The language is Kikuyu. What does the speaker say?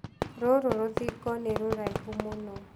Rũrũ rũthingo nĩ rũraihũ mũno.